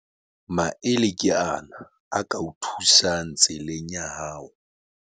Maele ke ana a ka o thusang tseleng ya hao.